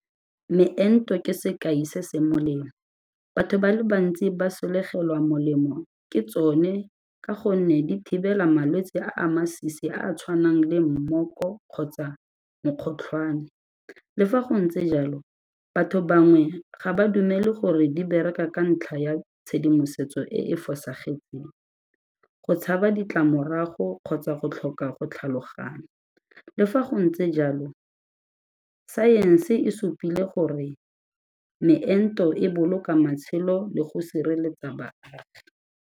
Meento ke sekai se se molemo, batho ba le bantsi ba sologela molemo ke tsone ka gonne di thibela malwetse a a masisi a a tshwanang le mmoko kgotsa mokgotlhwane. Le fa go ntse jalo batho bangwe ga ba dumele gore di bereka ka ntlha ya tshedimosetso e e fosagetseng, go tshaba ditlamorago kgotsa go tlhoka go tlhaloganya, le fa go ntse jalo saense e supile gore meento e boloka matshelo le go sireletsa baagi.